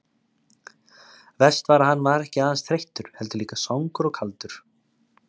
Verst var að hann var ekki aðeins þreyttur, heldur líka svangur og kaldur.